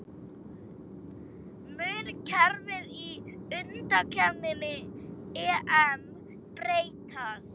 Mun kerfið í undankeppni EM breytast?